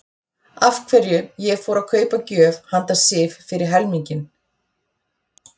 Af hverju ég fór að kaupa gjöf handa Sif fyrir helminginn.